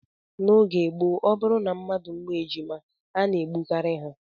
N'oge gboo, ọ bụrụ na mmadụ mụọ ejima a na-egbu ha